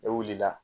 Ne wulila